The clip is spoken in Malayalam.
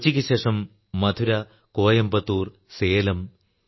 കൊച്ചിക്കുശേഷം മധുര കോയമ്പത്തൂർ സേലം